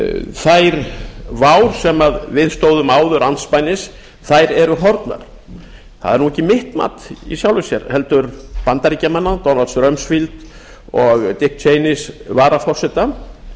þær vár sem við stóðum áður andspænis eru horfnar það er nú ekki mitt mat í sjálfu sér heldur bandaríkjamanna donalds romdfield og dicks cheneys varaforseta